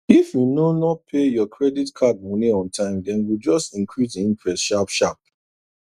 if you no no pay your credit card money on time dem go just increase the interest sharp sharp